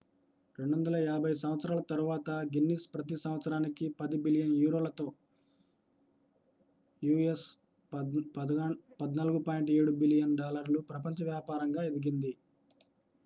250 సంవత్సరాల తరువాత గిన్నిస్ ప్రతి సంవత్సరానికి 10 బిలియన్ యూరోలతో us$ 14.7 బిలియన్ ప్రపంచ వ్యాపారంగా ఎదిగింది